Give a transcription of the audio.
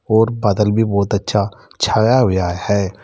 और बादल भी बहुत अच्छा छाया हुआ है।